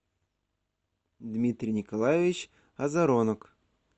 дмитрий николаевич азаронок